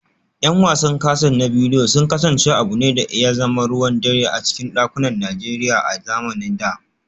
’Yan wasan kaset na bidiyo sun kasance abu ne da ya zama ruwan dare a cikin dakunan Najeriya a zamanin da